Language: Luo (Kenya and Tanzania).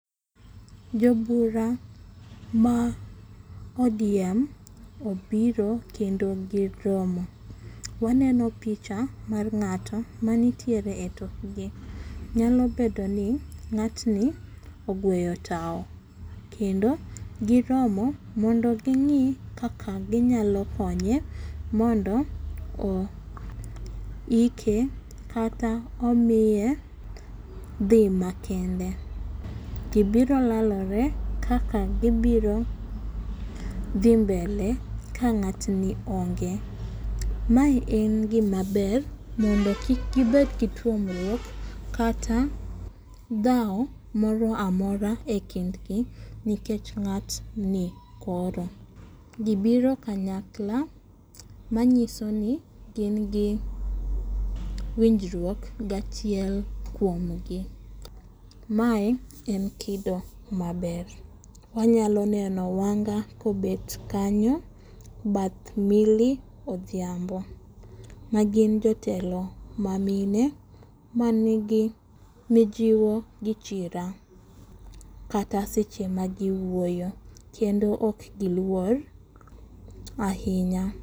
Jobura ma ODM obiro kendo giromo. Waneno picha mar ng'ato ma nitiere etokgi. Nyalo bedo ni ng'atni ogweyo tao. Kendo giromo mondo ging'i kaka ginyalo konye mondo oike kata omiye dhi makende. Gibiro lalore, kaka gibiro dhi mbele ka ng'atni onge. Ma en gima ber, mondo kik gibed gi pogruok. Kata dhawo moro amora e kind gi, nikech ng'atni koro. Gibiro kanyakla manyiso ni gin gi winjruok gi achiel kuomgi. Mae en kido maber. Wanyalo neno Wanga kobet kanyo, bath Millie Odhiambo magin jotelo ma mine manigi mijiwo gi chira. Kata seche ma giwuoyo. Kendo ok giluor ahinya.